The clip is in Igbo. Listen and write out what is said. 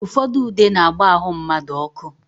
Ụfọdụ ude na-agba ahụ mmadụ ọkụ.